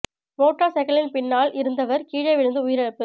motor சைக்கிளின் பின்னால் இருந்தவர் கீழே விழுந்து உயிரிழப்பு